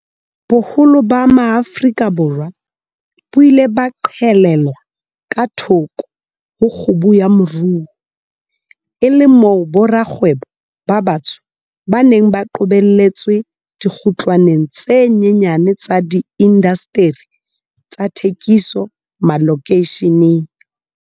Boholo ba Maafrika Borwa bo ile ba qhelelwa ka thoko ho kgubu ya moruo, e le moo borakgwebo ba batsho ba neng ba qobelletswe dikgutlwaneng tse nyenyane tsa diindasteri tsa thekiso malokeisheneng.